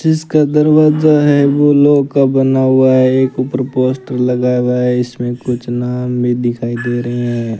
जिसका दरवाजा है वो लोह का बना हुआ है एक ऊपर पोस्टर लगाया हुआ है इसमें कुछ नाम भी दिखाई दे रहे हैं।